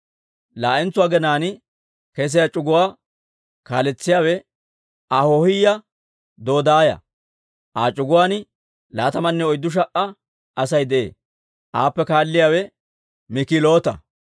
Laa"entso aginaan kesiyaa c'uguwaa kaaletsiyaawe Ahoohiyaa Dodaaya; Aa c'uguwaan laatamanne oyddu sha"a Asay de'ee. Aappe kaalliyaawe Mik'iloota.